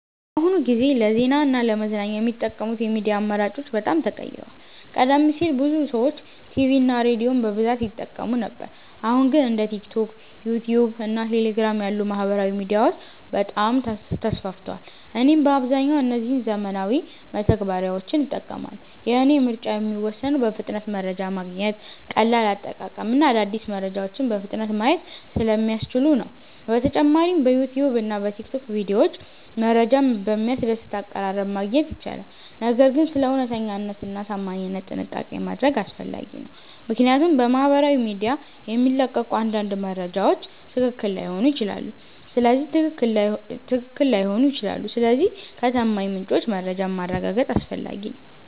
በአሁኑ ጊዜ ለዜና እና ለመዝናኛ የሚጠቀሙት የሚዲያ አማራጮች በጣም ተቀይረዋል። ቀደም ሲል ብዙ ሰዎች ቲቪ እና ሬዲዮን በብዛት ይጠቀሙ ነበር አሁን ግን እንደ ቲክቶክ፣ ዩትዩብ እና ቴሌግራም ያሉ ማህበራዊ ሚዲያዎች በጣም ተስፋፍተዋል። እኔም በአብዛኛው እነዚህን ዘመናዊ መተግበሪያዎች እጠቀማለሁ። የእኔ ምርጫ የሚወሰነው በፍጥነት መረጃ ማግኘት፣ ቀላል አጠቃቀም እና አዳዲስ መረጃዎችን በፍጥነት ማየት ስለሚያስችሉ ነው። በተጨማሪም በዩትዩብ እና በቲክቶክ ቪዲዮዎች መረጃን በሚያስደስት አቀራረብ ማግኘት ይቻላል። ነገር ግን ስለ እውነተኛነት እና ታማኝነት ጥንቃቄ ማድረግ አስፈላጊ ነው፣ ምክንያቱም በማህበራዊ ሚዲያ የሚለቀቁ አንዳንድ መረጃዎች ትክክል ላይሆኑ ይችላሉ። ስለዚህ ከታማኝ ምንጮች መረጃን ማረጋገጥ አስፈላጊ ነው።